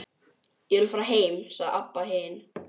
Ég vil fara heim, sagði Abba hin.